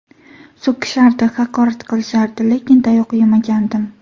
So‘kishardi, haqorat qilishardi, lekin tayoq yemagandim.